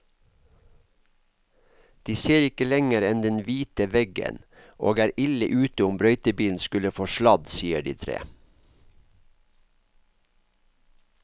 De ser ikke lenger enn den hvite veggen og er ille ute om brøytebilen skulle få sladd, sier de tre.